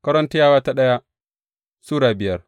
daya Korintiyawa Sura biyar